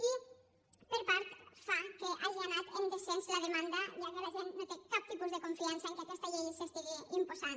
i per tant fa que hagi anat en descens la demanda ja que la gent no té cap tipus de confiança que aquesta llei s’imposi